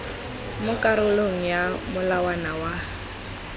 mo karolong ya molawana wa